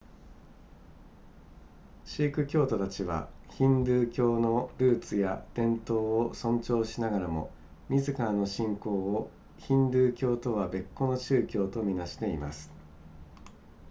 シーク教徒たちはヒンドゥー教のルーツや伝統を尊重しながらも自らの信仰をヒンドゥー教とは別個の宗教と見なしてます